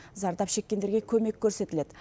зардап шеккендерге көмек көрсетіледі